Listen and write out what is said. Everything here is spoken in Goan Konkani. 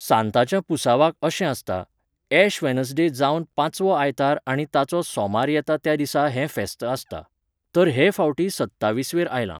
सांतांच्या पुरसावांक अशें आसता, एश वेनसडे जावन पांचवो आयतार आनी ताचो सोमार येता त्या दिसा हें फेस्त आसता. तर हे फावटी सत्तावीसवेर आयलां.